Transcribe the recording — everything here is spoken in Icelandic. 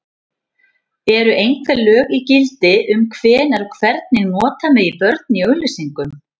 Eru einhver lög í gildi um hvenær og hvernig nota megi börn í auglýsingum?